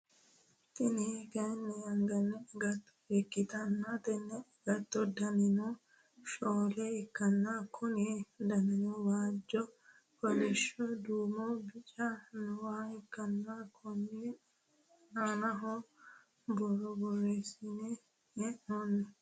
Tini kaayiini anggani agatto ikkitanna tenne agatto danino shoole ikkana konni danino waajjo kolishsho duumonna bicu nooha ikkana Konni anano borro boreesine heenoonni